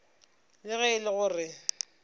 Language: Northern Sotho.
le ge e le gore